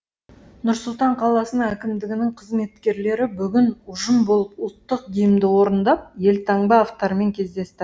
нұр сұлтан қаласының әкімдігінің қызметкерлері бүгін ұжым болып ұлттық гимнді орындап елтаңба авторымен кездесті